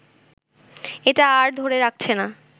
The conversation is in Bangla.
এটা আর ধরে রাখছে না